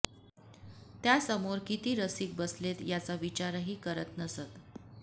त्या समोर किती रसिक बसलेत याचा विचारही करत नसत